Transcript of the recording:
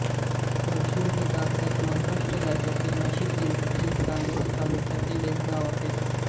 परसुळ हे भारताच्या महाराष्ट्र राज्यातील नाशिक जिल्ह्यातील चांदवड तालुक्यातील एक गाव आहे